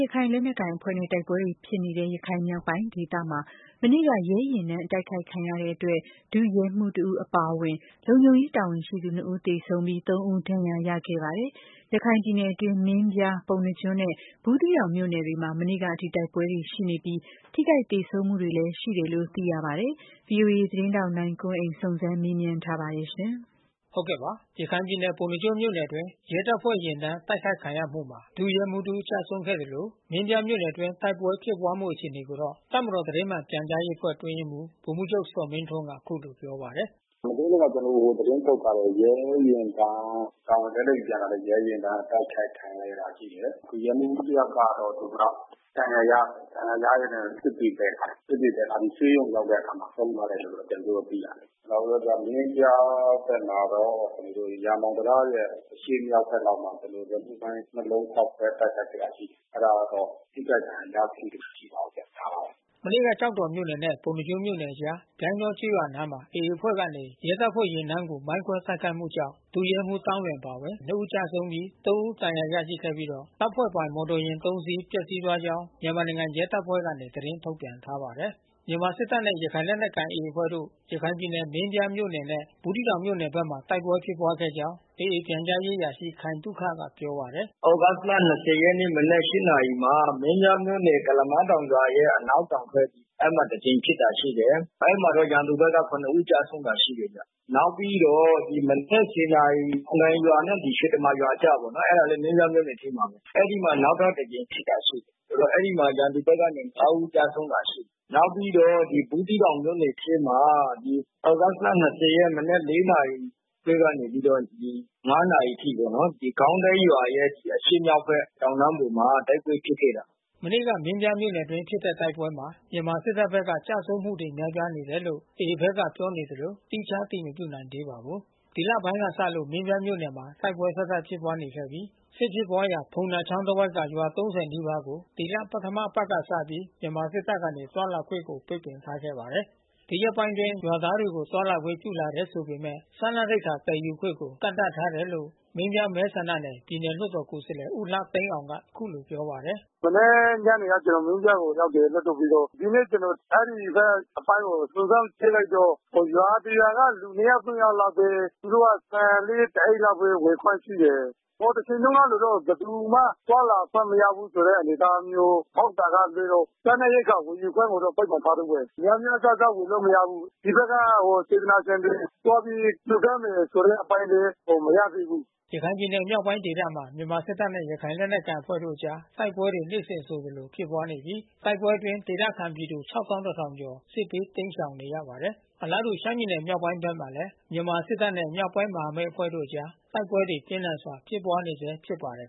ရခိုင်လက်နက်ကိုင်အဖွဲ့နဲ့ တိုက်ပွဲတွေဖြစ်နေတဲ့ ရခိုင်မြောက်ပိုင်းဒေသမှာ မနေ့က ရဲယာဉ်တန်းတိုက်ခိုက်ခံရလို့ ဒု ရဲမှူး တဦးအပါအဝင် လုံခြုံရေးတာဝန်ရှိသူ နှစ်ဦးသေဆုံးပြီး၊ သုံးဦး ဒဏ်ရာရရှိခဲ့ပါတယ်။ ရခိုင်ပြည်နယ်တွင်း မင်းပြား ပုဏ္ဏားကျွန်းနဲ့ ဘူးသီးတောင်မြို့နယ်တွေမှာ မနေ့ကအထိ တိုက်ပွဲတွေရှိနေပြီး ထိခိုက်သေဆုံးမှုတွေလည်း ရှိတယ်လို့ သိရပါတယ်။ ဗွီအိုအေ သတင်းထောက် ကိုနိုင်ကွန်းအိမ် စုံစမ်းမေးမြန်းထားပါတယ်။ ရခိုင်ပြည်နယ် ပ ုဏ္ဏားကျွန်းမြို့နယ်အတွင်း ရဲတပ်ဖွဲ့ယာဉ်တန်း တိုက်ခိုက်ခံရမှုမှာ ဒုရဲမှူး တဦး ကျဆုံးခဲ့သလို မင်းပြား မြို့နယ်အတွင်း တိုက်ပွဲဖြစ်ပွားမှု အခြေအနေကိုတော့ တပ်မတော်သတင်းမှန်ပြန်ကြားရေးအဖွဲ့ အတွင်းရေးမှူး ဗိုလ်မှူးချုပ် ဇော်မင်းထွန်းက အခုလိုပြောပါတယ်။ “မနေ့တုန်းကလည်း ကျနော်တို့ သတင်းထုတ်ထားတယ်။ ရဲယာဉ်တန်း တာဝန်နဲ့ ပြန်လာတဲ့ ရဲယာဉ်တန်း တိုက်ခိုက်ခံရတာ ရှိတယ်။ ဒုရဲမှူးတယောက်ကတော့ သူကဒဏ်ရာ ရတယ်။ ဒဏ်ရာရရင်းနဲ့ စစ်တွေသယ်လာတယ်။ စစ်တွေသယ်လာပြီး ဆေးရုံရောက်တဲ့အခါမှာ ဆုံးသွားတယ်လို့ ကျနော်တို့ သိရတယ်။ နောက်ပြီးတော့ မင်းပြားဘက်မှာတော့ ရာမောင်တံတားရဲ့ အရှေ့မြောက်ဘက်မှာတော့ ကျနော်တို့ လက်လုပ်မိုင်း ၂ လုံး ဖေါက်ခွဲတိုက်ခိုက်ခဲ့တာ ရှိတယ်။ အဲဒါကတော့ ထိခိုက်ဒဏ်ရာရမှု မရှိပါဘူး။ ဒါပါပဲ။” မနေ့က ကျောက်တော်မြို့နှယ်နဲ့ ပုဏ္ဏားကျွန်းမြို့အကြား ပြိုင်းတောကျေးရွာအနီးမှာ AA အဖွဲ့ကနေ ရဲတပ်ဖွဲ့ ယာဉ်တန်းကို မိုင်းခွဲတိုက်ခိုက်မှုကြောင့် ဒုရဲမှူးသောင်းလွင ်အပါအဝင် နှစ် ဦးကျဆုံးပြီး သုံး ဦး ဒဏ်ရာ ရရှိပြီးတော့ တပ်ဖွဲ့ပိုင် မော်တော် ယာဉ် သုံးစီး ပျက်စီးသွားကြောင်း မြန်မာနိုင်ငံရဲတပ်ဖွဲ့ကနေ သတင်းထုတ်ပြန်ထားပါတယ်။ မြန်မာစစ်တပ်နဲ့ ရခိုင်လက်နက်ကိုင် AA အဖွဲ့တို့ ရခိုင်ပြည်နယ် မင်းပြားမြို့နယ်နဲ့ ဘူးသီးတောင်မြို့နယ်ဘက်မှာ တိုက်ပွဲဖြစ်ပွားခဲ့ကြောင်း AA ပြန်ကြားရေးအရာရှိ ခိုင်သုခကပြောပါတယ်။ “သြဂုတ်လ ၂၀ ရက် မနက် ၈ နာရီမှာ မင်းပြားမြို့နယ်ရဲ့ ကုလားမတောင်ရွာရဲ့ အနောက်တောင်ဘက် အဲဒီမှာတကြိမ်ဖြစ်တာ ရှိတယ်။ အဲဒီမှာလည်း ရန်သူဘက်က ခုနစ် ဦး ကျဆုံးတာ ရှိတယ်ဗျ။ နောက်ပြီးတော့ ဒီမနက် ၁၀ နာရီ တံခွန်တိုင်နဲ့ရွှေတမာ ရွာအကြားပေါ့။ အဲဒါလည်း မင်းပြားမြို့နယ်ထဲမှာပဲ။ အဲဒီမှာ နောက်ထပ်တကြိမ် ဖြစ်တာ ရှိတယ်။ အဲဒီမှာရန်သူဘက်က ငါး ဦး ကျဆုံးတာ ရှိတယ်။ နောက်ပြီးတော့ ဘူးသီးတောင်မြို့နယ်ထဲမှာ သြဂုတ်လ ၂၀ ရက် မနက် ၄ နာရီထဲကနေပြီးတော့ ၅ နာရီအထိ ဂေါင်းတိုက်ရွာရဲ့ အရှေ့မြောက်ဘက် တောင်တန်းပေါ်မှာ တိုက်ပွဲဖြစ်ခဲ့တယ်။” မနေ့ကမင်းပြားမြို့နယ်အတွင်း ဖြစ်တဲ့တိုက်ပွဲမှာ မြန်မာစစ်တပ်ဘက်က ကျဆုံးမှုတွေ များပြားတယ်လို့ AA ဘက်ကပြောနေသလို သီးခြားအတည်မပြုနိုင်သေးပါဘူး။ ဒီလပိုင်းကစလို့ မင်းပြားမြို့နယ်မှာ တိုက်ပွဲဆက်တိုက်ဖြစ်ပွားနေခဲ့ပြီး စစ်ဖြစ်ပွားရာ ဖုံသာချောင်းတဝိုက်ကရွာ ၃၀ နီးပါးကို ဒီလပထမအပတ်ကစပြီး မြန်မာစစ်တပ်ကနေ သွားလာခွင့်ကို ပိတ်ပင်ထားခဲ့ပါတယ်။ ဒီရက်ပိုင်းအတွင်း ရွာသားတွေကို သွားလာခွင့်ပြုလာတယ် ဆိုပေမဲ့ စားနပ်ရိက္ခာသယ်ယူခွင့်ကို ကန့်သတ်ထားဆဲလို့ မင်းပြား မဲဆန္ဒနယ် ပြည်နယ်လွှတ်တော်ကိုယ်စားလှယ် ဦးလှသိန်းအောင်က အခုလိုပြောပါတယ်။ “မနေ့ညနေက ကျနော် မင်းပြားကိုရောက်တယ် လွှတ်တော်ပြီးတော့။ အဲဒီဘက်အပိုင်းကို စုံစမ်းကြည့်လိုက်တော့ ရွာတရွာက လူ နှစ်ယောက်၊ သုံးယောက်လောက်ပဲ သူတို့က ဆန်လေးတအိတ်လောက်ပဲ ဝယ်ခွင့်ပြုတယ်။ ဟိုတချိန်တုန်းကလိုတော့ ဘယ်သူမှ သွားလာခွင့် မရဘူးဆိုတဲ့အနေအထားမျိုး ဟုတ်တာကလွှဲလို့ စားနပ်ရိက္ခာဝယ်ယူခွင့်ကို ပိတ်ပင်ထားသေးတယ်။ များများစားစား ဝယ်လို့မရဘူး။ ဒီဘက်ကစေတနာရှင်တွေ သွားပြီး လှူဒါန်းမယ် ဆိုတဲ့အပိုင်းလည်း မရသေးဘူး။” ရခိုင်ပြည်နယ်မြောက်ပိုင်းဒေသမှာ မြန်မာစစ်တပ်နဲ့ ရခိုင်လက်နက်ကိုင်အဖွဲ့တို့အကြား တိုက်ပွဲတွေ နေ့စဉ်ဆိုသလို ဖြစ်ပွားနေပြီး တိုက်ပွဲအတွင်းဒေသခံပြည်သူ ၆၁,၀၀၀ ကျော် စစ်ဘေး တိမ်းရှောင်နေရပါတယ်။ အလားတူ ရှမ်းပြည်နယ် မြောက်ပိုင်းဘက်မှာလည်း မြန်မာစစ်တပ်နဲ့ မြောက်ပိုင်းမဟာမိတ်အဖွဲ့တို့အကြား တိုက်ပွဲတွေ ပြင်းထန်စွာ ဖြစ်ပွားနေဆဲ ဖြစ်ပါတယ်